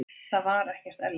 Það var ekkert erlendis.